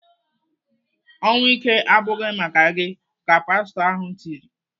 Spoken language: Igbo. "Ọnwụ ike abụghị maka gị!" ka pastọ ahụ tiri.